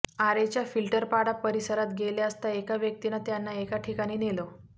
आरेच्या फिल्टरपाडा परिसरात गेले असता एका व्यक्तीनं त्यांना एका ठिकाणी नेलं